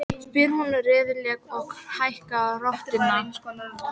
spyr hún reiðilega og hækkar röddina.